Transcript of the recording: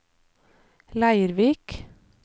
Leirvik